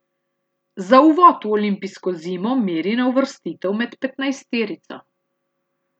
Za uvod v olimpijsko zimo meri na uvrstitev med petnajsterico.